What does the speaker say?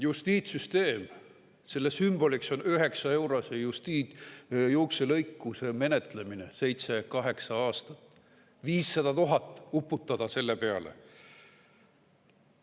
Justiitssüsteemi sümboliks on 9-eurose juukselõikuse menetlemine seitse-kaheksa aastat, 500 000 eurot uputati selle peale.